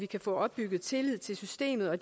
kan få opbygget tillid til systemet og